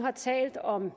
har talt om